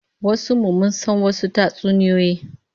Yawancin mu mun san wasu tatsuniyoyi